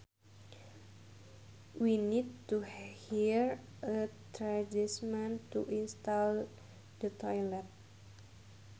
We need to hire a tradesman to install the toilet